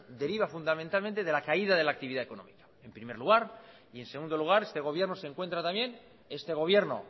deriva fundamentalmente de la caída de la actividad económica en primer lugar y en segundo lugar este gobierno se encuentra también este gobierno